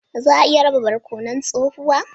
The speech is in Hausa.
Za a iya raba barkonon tsohuwa?